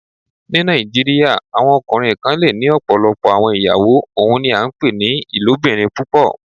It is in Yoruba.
Ní Nàìjíríà, awọn ọkùnrin kàn lẹ́ ní ọ̀pọ̀lọpọ̀ awọn ìyàwó, ọ́un ní à pẹ ni "ilòbìrín púpọ̀."